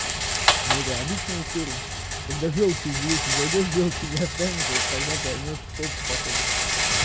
ну это обычная история когда жёлчь уже вещи зайдёшь в жёлчи не останется вот тогда поймёшь стоп походу